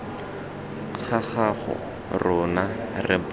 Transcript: gago rona re banna re